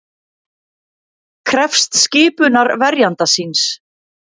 Krefst skipunar verjanda síns